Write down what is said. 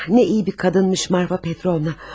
Ah nə iyi bir qadınmış Marfa Petrovna.